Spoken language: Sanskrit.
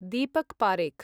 दीपक् पारेख्